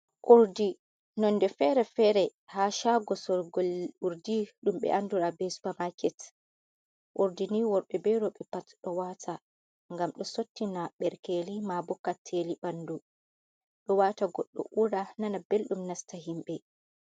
Urdi non de fere-fere ha shago sorgol urdi ɗum ɓe andura be supa maket, ordini worɓe be roɓe pat ɗo wata gam ɗo sottina ɓerkeli mabo kacceli ɓandu ɗo wata goɗɗo ura nana belɗum nasta himɓe.